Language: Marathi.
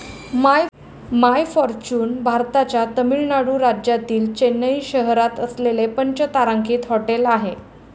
माय फॉर्च्युन भारताच्या तामिळनाडू राज्यातील चेन्नई शहरात असलेले पंचतारांकित हॉटेल आहे.